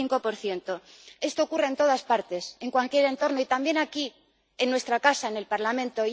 75 Esto ocurre en todas partes, en cualquier entorno y también aquí en nuestra casa, en el Parlamento.